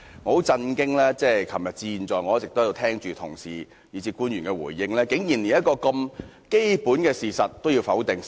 我很震驚，由昨天至現在，我一直在這裏聽着同事以至官員的回應，他們竟然連一個這麼基本的事實都要否定。